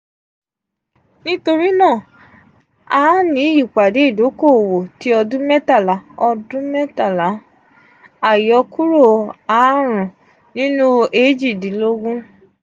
nitorinaa a a ni ipade idoko-owo ti ọdun mẹtala ọdun mẹtala ayokuro aarun ninu eejidinlogun.